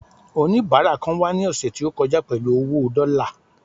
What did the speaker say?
onibara kan wà ni ọsẹ ti o kọjá pẹlú owo dọ́là